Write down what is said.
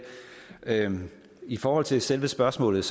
i forhold til selve spørgsmålet